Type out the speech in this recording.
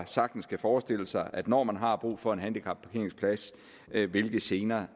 sagtens kan forestille sig når man har brug for en handicapparkeringsplads hvilke gener